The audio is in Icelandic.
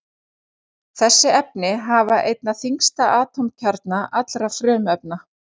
Þessi efni hafa einna þyngsta atómkjarna allra frumefna.